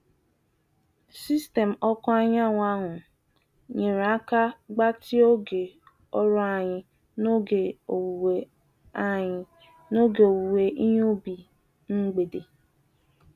Sistemu ọkụ anyanwụ ahụ nyere aka gbatịa oge ọrụ anyị n'oge owuwe anyị n'oge owuwe ihe ubi mgbede.